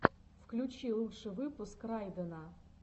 включи лучший выпуск райдена